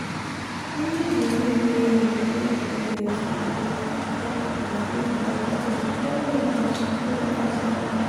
changing the way the way wey you take dey breastfeed go fit help you continue breastfeeding especially when na hospital workers help you.